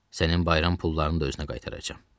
Sənin bayram pullarını da özünə qaytaracam.